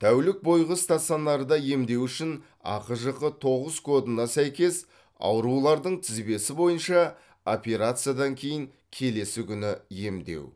тәулік бойғы стационарда емдеу үшін ахжх тоғыз кодына сәйкес аурулардың тізбесі бойынша операциядан кейін келесі күні емдеу